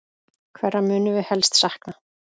Hverra munum við helst sakna?